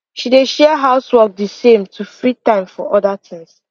she dey share house work de same to free time for other tings